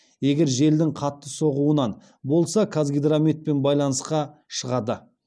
егер желдің қатты соғуынан болса қазгидрометпен байланысқа шығады